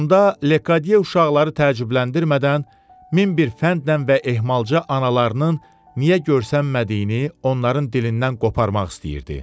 Onda Lekadiye uşaqları təəccübləndirmədən min bir fəndlə və ehmalca analarının niyə görünmədiyini onların dilindən qoparmaq istəyirdi.